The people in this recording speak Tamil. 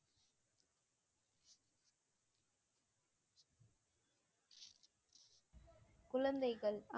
குழந்தைகள்